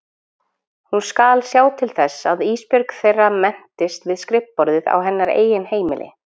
Hún skal sjá til þess að Ísbjörg þeirra menntist við skrifborðið á hennar eigin heimili.